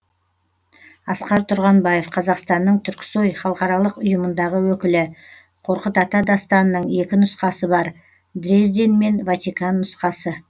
асқар тұрғанбаев қазақстанның түрксои халықаралық ұйымындағы өкілі қорқыт ата дастанының екі нұсқасы бар дрезден мен ватикан нұсқасы